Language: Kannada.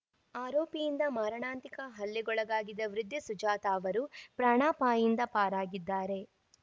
ಆರೋಪಿಯಿಂದ ಮಾರಣಾಂತಿಕ ಹಲ್ಲೆಗೊಳಗಾಗಿದ್ದ ವೃದ್ಧೆ ಸುಜಾತಾ ಅವರು ಪ್ರಾಣಾಪಾಯಿಂದ ಪಾರಾಗಿದ್ದಾರೆ